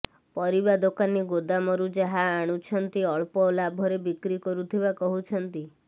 ପରିବା ଦୋକାନୀ ଗୋଦାମରୁ ଯାହା ଅଣୁଛନ୍ତି ଅଳ୍ପ ଲାଭରେ ବିକ୍ରି କରୁଥିବା କହୁଛନ୍ତି